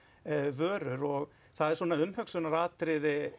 vörur og það er svona umhugsunaratriði